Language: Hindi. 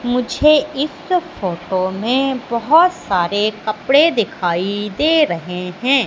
मुझे इत फोटो में बहोत सारे कपड़े दिखाई दे रहे हैं।